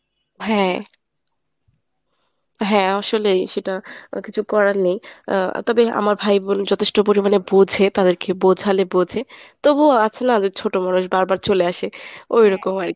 হ্যাঁ হ্যাঁ আসলেই সেটা কিছু করার নেই। আহ তবে আমার ভাই বোন যথেষ্ট পরিমাণে বোঝে তাদেরকে বোঝালে বোঝে। তবুও আছে না ছোটো মানুষ বারবার চলে আসে ওই রকম আরকি।